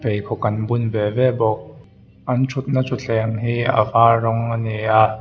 pheikhawk an bun ve ve bawk an thutna thuthleng hi a var rawng ani a.